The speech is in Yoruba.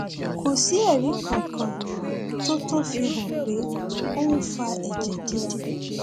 kò sí ẹrí kankan tó tó fi hàn pé ó ń fa ẹjẹ dídì